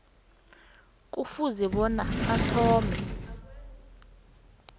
kufuze bona athome